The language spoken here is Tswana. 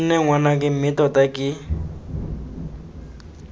nne ngwanake mme tota ke